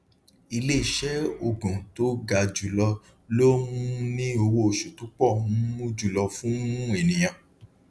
iléeṣẹ ogún tó ga jù lọ ló um ní owó oṣù tó pọ um jùlọ fún um ènìyàn